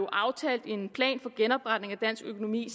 aftalt en plan for genopretning af dansk økonomi